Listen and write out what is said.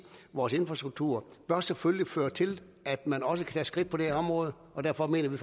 vores infrastruktur bør selvfølgelig føre til at man også kan skridt på det her område og derfor mener vi